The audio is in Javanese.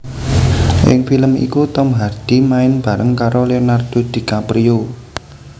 Ing film iku Tom Hardy main bareng karo Lenardo Dicaprio